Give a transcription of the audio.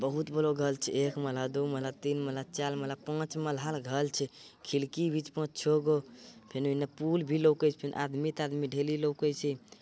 बहुत बलो घल चे एक मल्हा दू मल्हा तीन मल्हा चाल मल्हा पाँच मल्हा ल घल चे । खिलकी भी छे पांच-छोगो फिनु हिन्ने पुल भी लोके छे फिन आदमी-तादमी ढेली लोके चे ।